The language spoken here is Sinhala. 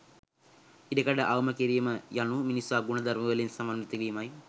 ඉඩකඩ අවම කිරීම යනු මිනිසා ගුණධර්මවලින් සමන්විත වීමයි